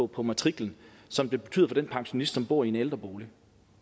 på matriklen som det betyder for den pensionist som bor i en ældrebolig